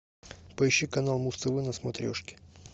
поищи канал муз тв на смотрешке